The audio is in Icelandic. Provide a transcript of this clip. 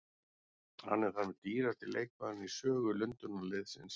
Hann er þar með dýrasti leikmaðurinn í sögu Lundúnarliðsins.